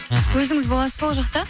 мхм өзіңіз боласыз ба ол жақта